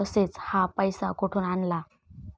तसेच, हा पैसा कुठून आणला?